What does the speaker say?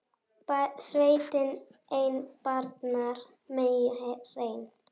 Sveinn ei barnar meyju hreinn.